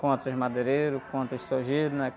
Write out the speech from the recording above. Contra os madeireiros, contra os, né?